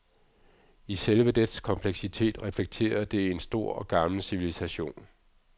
I selve dets kompleksitet reflekterer det en stor og gammel civilisation.